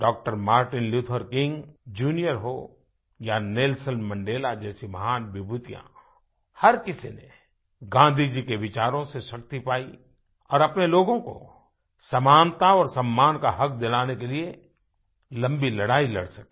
Dr Martin Luther King junior हों या Nelson Mandela जैसी महान विभूतियाँ हर किसी ने गाँधी जी के विचारों से शक्ति पाई और अपने लोगों को समानता और सम्मान का हक दिलाने के लिए लम्बी लड़ाई लड़ सके